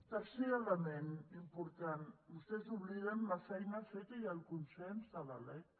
tercer element important vostès obliden la feina feta i el consens de la lec